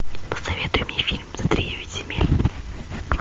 посоветуй мне фильм за тридевять земель